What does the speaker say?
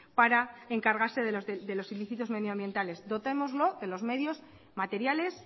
para encargarse de los ilícitos medioambientales dotémoslo de los medios materiales